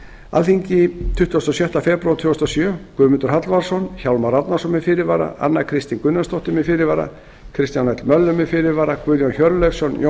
alþingi tuttugasta og sjöunda febrúar tvö þúsund og sjö guðmundur hallvarðsson hjálmar árnason með fyrirvara anna kristín gunnarsdóttir með fyrirvara kristján l möller með fyrirvara guðjón hjörleifsson jón